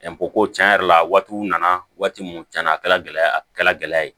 ko tiɲɛ yɛrɛ la waatiw nana waati min tiɲɛ na a kɛra gɛlɛya ye